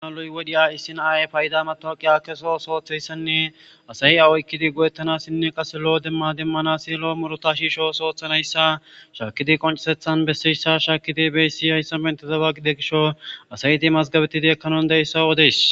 aaluy wodhiya issinaay payida matorqiya keso sooththeyssanne asayi awoykkidi godettanassinne qase lo7o demma demmanasi lo muruta shiisho soothanayssa shaakidi qoncesethan besseyssa shaakidi beyssi hayssa bentezaba qide gisho asayti mazgabetidi ekkanondeyssa odeys